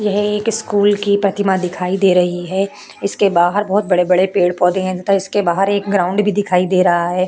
यह एक स्कूल की प्रतिमा दिखाई दे रही है इसके बहार बहुत बड़े बड़े पेड़ पोधे है तथा इसके बहार एक ग्राउंड भी दिखाई दे रहा है।